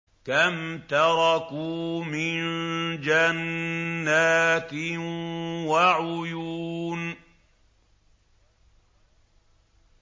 كَمْ تَرَكُوا مِن جَنَّاتٍ وَعُيُونٍ